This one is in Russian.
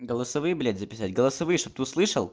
голосовые блять записать голосовые чтобы ты услышал